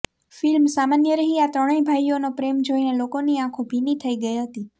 film સામાન્ય રહી આ ત્રણેય ભાઈઓ નો પ્રેમ જોઇને લોકોની આંખો ભીની થઇ ગઈ હતી